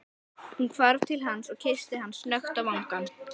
Hún hvarf til hans og kyssti hann snöggt á vangann.